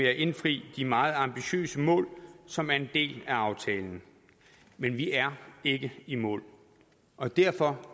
at indfri de meget ambitiøse mål som er en del af aftalen men vi er ikke i mål og derfor